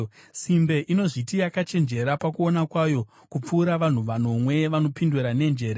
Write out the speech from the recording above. Simbe inozviti yakachenjera pakuona kwayo kupfuura vanhu vanomwe vanopindura nenjere.